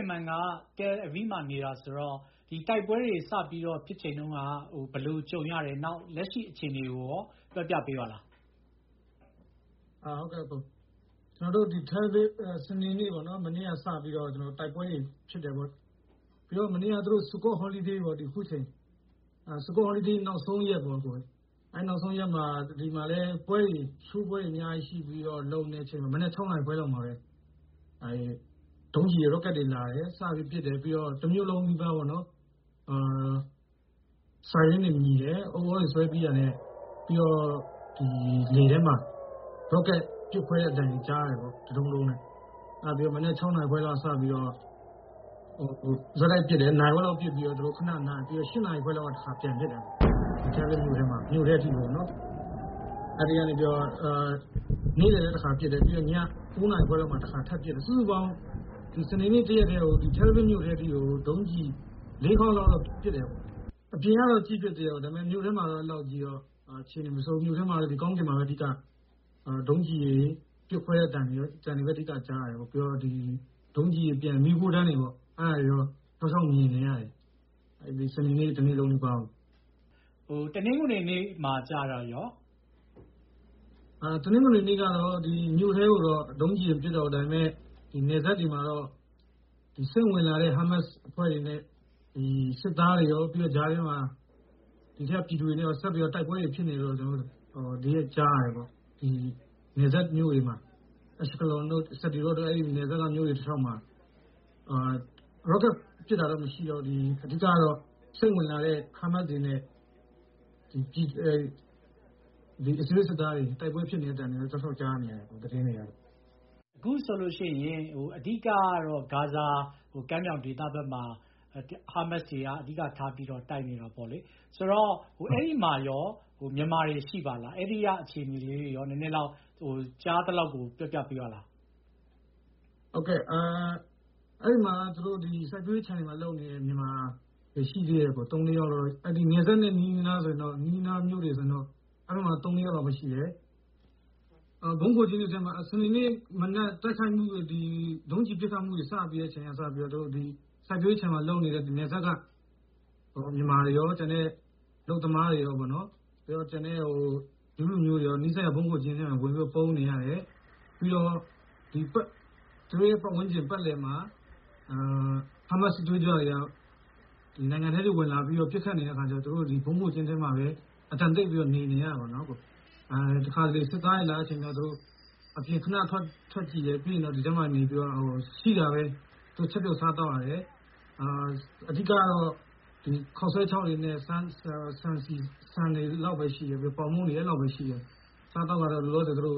င်မန်က တယ်လ်အဗီးမှာနေတာဆိုတော့ တိုက်ပွဲတွေစပြီးတော့ ဖြစ်ချိန်တုန်းက ဘယ်လိုကြုံရတယ်၊ နောက် လက်ရှိအခြေအနေကိုရော ပြောပြပေးပါလား။ ဆေးဂင်မန်။ ။ စနေနေ့ မနေ့ကစပြီးတော့ တိုက်ပွဲတွေဖြစ်တယ်ပေါ့။ မနေ့က sukkot holiday ပေါ့ အခုအချိန်။ sukkot holiday နောက်ဆုံးရက်ပေါ့။ ဒီမှာလည်း ပွဲတွေအများကြီးရှိပြီးတော့ မနက် ၆ နာရီခွဲလောက်မှာပဲ ဒုံးကျည်တွေ ရော့ကက်တွေလာတယ်။ စပြီးတော့ ပစ်တယ်။ ပြီးတော့ တမြို့လုံးနီးပါးပေါ့နော်- ဥသြတွေဆွဲပြီးတာနဲ့ ပြီးတော့ လေထဲမှာ ရော့ကက်ပစ်ခွဲတဲ့အသံတွေ ကြားရတယ်ပေါ့။ တဒုန်းဒုန်းနဲ့။ အဲဒါပြီးတော့ မနက် ၆ နာရီခွဲလောက်ကစပြီးတော့မှ ဆက်တိုက်ပစ်တယ်။ နာရီဝက်လောက်ပစ်ပြီးတော့မှ သူတို့ ခဏနားတယ်။ ပြီးတော့ ၈ နာရီခွဲလောက်မှာ တခါ ပြန်ပစ်တယ်။ မြို့ထဲအထိပေါ့နော်။ အဲဒီကနေပြီးတော့မှ နေ့လည်တခါပစ်တယ်။ ပြီးတော့ ည ၉ နာရီခွဲလောက်မှာ တခါထပ်ပစ်တယ်။ စုစုပေါင်း စနေနေ့တရက်တည်းကို တယ်လ်အဗစ်မြို့ထဲအထိကို ဒုံးကျည် ၄ ခေါက်လောက်တော့ ပစ်တယ်ပေါ့။ အပြင်ကတော့ ကြည့်ဖြစ်သေးတာပေ့ါ ။ မြို့ထဲမှာတော့ အဲဒီလောက်ကြီး အခြေအနေမဆိုးဘူး၊ ကောင်းကင်မှာပဲ အဓိက ဒုံးကျည်တွေ ပစ်ခွဲတဲ့အသံတွေကိုပဲ အဓိကကြားရတယ်ပေါ့။ ဒုံးကျည်တွေ၊ မီးခိုးတန်းတွေပေါ့။ အဲဒါတွေတော့ တောက်လျှောက်မြင်နေရတယ်။ စနေနေ့ တနေ့လုံးနီးပါးမှာ။ ကိုအောင်အောင်။ ။ တနင်္ဂနွေနေ့မှာကျတော့ရော။ ဆေးဂင်မန်။ ။ တနင်္ဂနွေနေ့ကတော့ မြို့ထဲကို ဒုံးကျည်တော့ မပစ်တော့ဘူး။ ဒါပေမဲ့ နယ်စပ်တွေမှာတော့ စိမ့်ဝင်လာတဲ့ ဟားမတ်စ်အဖွဲ့တွေနဲ့ စစ်သားတွေရော၊ ပြီးတော့ ကြားထဲမှာ ဒီထဲက ပြည်သူတွေနဲ့ရော ဆက်ပြီးတော့ တိုက်ပွဲတွေဖြစ်နေတယ်လို့ ကျနော်တို့ ကြားရတယ်ပေါ့။ ဒီ နယ်စပ်မြို့တွေမှာ အက်ရှ်လွန်တို့ ပြီးတော့ နယ်စပ်က မြို့တွေတလျှောက်မှာ ရော့ကက်ပစ်တာတော့ မရှိတော့ဘူး၊ အဓိက-ကတော့ စိမ့်ဝင်လာတဲ့ ဟားမတ်စ်တွေနဲ့ အစ္စရေးစစ်သားတွေ တိုက်ပွဲဖြစ်နေတဲ့အသံတွေပဲ တောက်လျှောက်ကြားနေရတာ။ သတင်းတွေက။ ကိုအောင်အောင်။ ။ အခုဆိုလို့ရှိရင် အဓိက-ကတော့ ဂါဇာကမ်းမြောင်ဒေသဘက်မှာ ဟားမတ်စ်တွေက အဓိကထားပြီးတော့ တိုက်နေတာပေါ့လေ။ ဆိုတော့...အဲဒီမှာရော မြန်မာတွေ ရှိလား၊ အဲဒီက အဲဒီကအခြေအနေလေးတွေကိုရော ကြားသလောက် ပြောပြပေးပါလား။ ဆေးဂင်မန်။ ။ ဟုတ်ကဲ့၊ အဲဒီမှာဆိုလို့.....မှာလုပ်နေတဲ့ မြန်မာ သုံးလေးယောက်လောက် ရှိတယ်ပေါ့။ နယ်စပ်နဲ့နီးနီးနားနားဆိုရင်တော့ နီးနီးနားနားမြို့တွေမှာဆိုရင်တော့ အဲဒီမှာ သုံးလေးယောက်လောက်ပဲရှိတယ်။ စနေနေ့မနက် တိုက်ခိုက်မှု- ဒုံးကျည်ပစ်ခတ်မှုတွေ စတင်တဲ့အချိန်ကစပြီးတော့ စိုက်ပျိုးရေးခြံမှာလုပ်နေတဲ့ နယ်စပ်က မြန်မာတွေရော၊ ကျန်တဲ့အလုပ်သမားတွေရောပေါ့-ဂျူးလူမျိုးတွေရာ နီးစပ်ရာဗုံးခိုကျင်းတွေထဲမှာဝင်ပြီးတော့ ပုန်းနေရတယ်။ ပြီးတော့ သူတို့ရဲ့ပတ်ဝန်းကျင်ပတ်လည်မှာ ဟားမတ်စ် စစ်သွေးကြွတွေက နိုင်ငံထဲအထိ ဝင်လာပြီးတော့ ပစ်ခတ်နေတဲ့အခါကျတော့ သူတို့ ဗုံးခိုကျင်းတွေထဲမှာပဲ အသံတိတ်ပြီးတော့ နေနေရတာပေါ့။ တခါတလေ စစ်သားတွေလာတဲ့အချိန်ကျ သူတို့ အပြင် ခဏ ထွက်ကြည့်တယ်။ ပြီးရင်တော့ အထဲမှာနေပြီးတော့ ရှိတာပဲ ချက်ပြုတ်စားသောက်ရတယ်။ အဓိက-ကတော့ ခေါက်ဆွဲခြောက်တွေနဲ့ ဆန်တွေ နောက်ပြီး ပေါင်မုန့်တွေ အဲဒီလောက်ပဲ ရှိတယ်။ အစားအသောက်ကတော့ လောလောဆယ်သူတို့